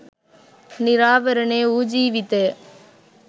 නිරාවරණය වූ ජීවිතය